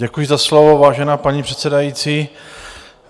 Děkuji za slovo, vážená paní předsedající.